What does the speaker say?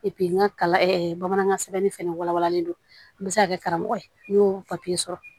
n ka kalan bamanankan sɛbɛnni fana wala walalen don n bɛ se ka kɛ karamɔgɔ ye n y'o papiye sɔrɔ